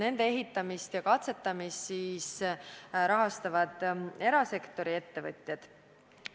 Nende ehitamist ja katsetamist rahastavad erasektori ettevõtjad.